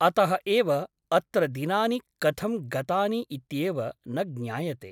अतः एव अत्र दिनानि कथं गतानि इत्येव न ज्ञायते ।